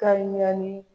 Kari naani